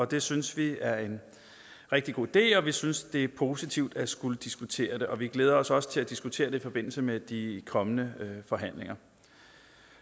det synes vi er en rigtig god idé og vi synes det er positivt at skulle diskutere det og vi glæder os også til at diskutere det i forbindelse med de kommende forhandlinger